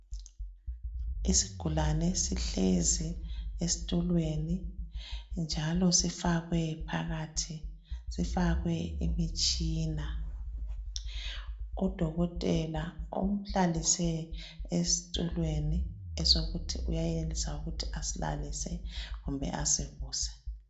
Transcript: isigulane sihlezi esitulweni njalo sifake sifakwe phakathi kwemitshina udokotela umhlalise esitulweni esokuthi uyayenza ukuthi asilalise kumbe asivuse